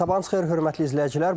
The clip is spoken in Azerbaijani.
Sabahınız xeyir hörmətli izləyicilər.